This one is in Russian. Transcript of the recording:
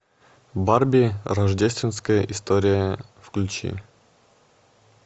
барби рождественская история включи